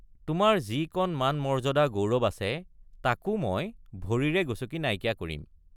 তোমাৰ যি কণ মানমৰ্য্যাদা গৌৰৱ আছে তাকো মই—ভৰিৰে গচকি নাইকিয়া কৰিম।